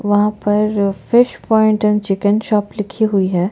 वहाँ पर fish point and chicken shop लिखी हुई है।